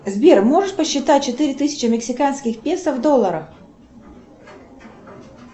сбер можешь посчитать четыре тысячи мексиканских песо в долларах